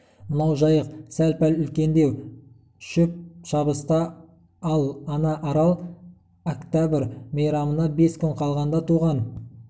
мынау жайық сәл-пәл үлкендеу шөп шабыста ал ана арал октәбір мейрамына бес күн қалғанда туған